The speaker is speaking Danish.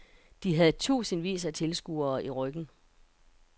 De havde tusindvis af tilskuere i ryggen.